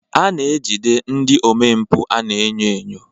A na-ejide ndị omempụ a na-enyo enyo.